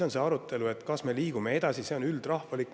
See arutelu, kas me liigume sellega edasi, on üldrahvalik.